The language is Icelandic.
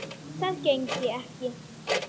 Það gengi ekki